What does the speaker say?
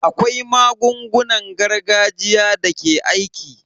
Akwai magungunan gargajiya da ke aiki.